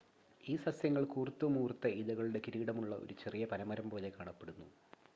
ഈ സസ്യങ്ങൾ കൂർത്തുമൂർത്ത ഇലകളുടെ കിരീടമുള്ള ഒരു ചെറിയ പനമരം പോലെ കാണപ്പെടുന്നു